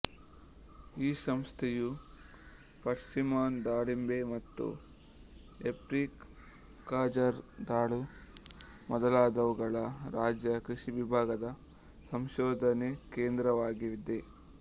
ಈ ಸಂಸ್ಥೆಯು ಪರ್ಸಿಮನ್ ದಾಳಿಂಬೆ ಮತ್ತು ಏಪ್ರಿಕಾಟ್ಜರದಾಳು ಮೊದಲಾದವುಗಳ ರಾಜ್ಯ ಕೃಷಿ ವಿಭಾಗದ ಸಂಶೋಧನಾ ಕೇಂದ್ರವಾಗಿದೆ